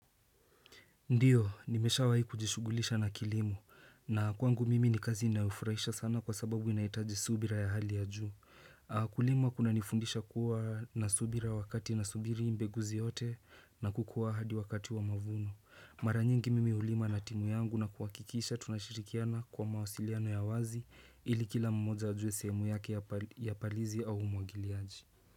Ndio, nimeshawahi kujishughulisha na kilimo, na kwangu mimi ni kazi inayofurahisha sana kwa sababu inahitaji subira ya hali ya juu. Kulima kunanifundisha kuwa na subira wakati nasubiri mbegu ziote na kukuwa hadi wakati wa mavuno. Mara nyingi mimi hulima na timu yangu na kuhakikisha tunashirikiana kwa mawasiliano ya wazi ili kila mmoja ajue sehemu yake ya palizi au umwagiliaji.